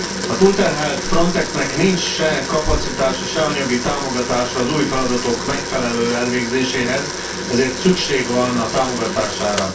A túlterhelt Frontexnek nincs se kapacitása, sem anyagi támogatása az új feladatok megfelelő elvégzéséhez, ezért szükség van a támogatására.